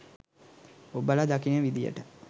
ඔබල දකින විදියට